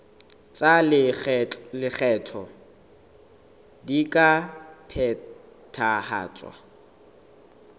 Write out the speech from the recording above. tsa lekgetho di ka phethahatswa